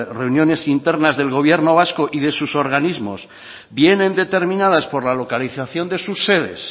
reuniones internas del gobierno vasco y de sus organismos vienen determinadas por la localización de sus sedes